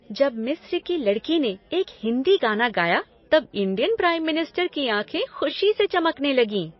जब मिस्र की लड़की ने एक हिंदी गाना गाया तब इंडियन प्राइम मिनिस्टर की आँखें खुशी से चमकने लगीं।